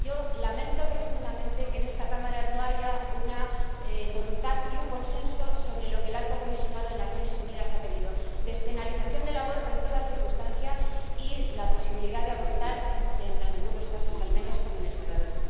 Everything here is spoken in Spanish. Yo lamento profundamente que en esta Cámara no haya una voluntad y un consenso sobre lo que el alto comisionado de las Naciones Unidas ha pedido despenalización del aborto en toda circunstancia y la posibilidad de abortar en algunos casos, al menos, como en El Salvador.